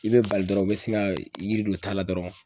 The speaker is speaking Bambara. I be bali dɔrɔn u bɛ sin ka yiri don ta la dɔrɔn